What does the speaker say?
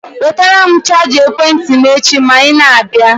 Wetara m chaja ekwentị m echi ma i na-abịa.